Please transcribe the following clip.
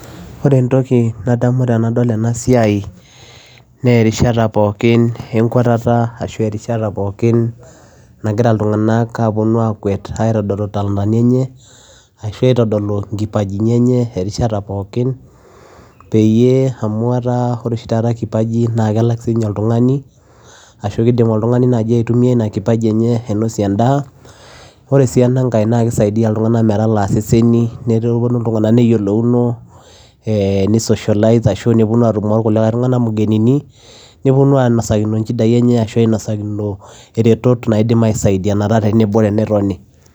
Oree entokii nadamuu tenadol enaa siai naa erishata naagiraa ilntunganak akwet aitodoluu talanta idoluu kipaji erishata pookin peyiee elakii amuu oree enaa na kisaidia ilntunganak metalaa iseseni neyiolouno netumo ilntunganak nepuonuu inosakinoo iretoot